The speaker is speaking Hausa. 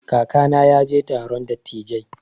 Kakana ya je taron dattijai.